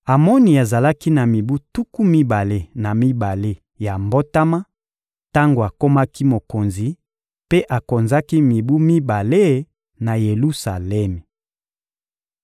Amoni azalaki na mibu tuku mibale na mibale ya mbotama tango akomaki mokonzi, mpe akonzaki mibu mibale na Yelusalemi.